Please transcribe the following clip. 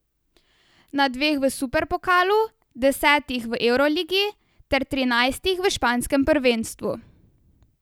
Na dveh v superpokalu, desetih v evroligi ter trinajstih v španskem prvenstvu.